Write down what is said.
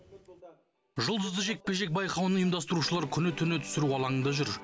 жұлдызды жекпе жек байқауын ұйымдастырушылар күні түні түсіру алаңында жүр